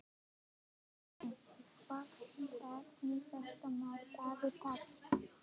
Þóra Kristín: Í hvað stefnir þetta mál Árni Páll?